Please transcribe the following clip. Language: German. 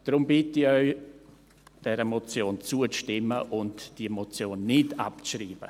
Deshalb bitte ich Sie, dieser Motion zuzustimmen und die Motion nicht abzuschreiben.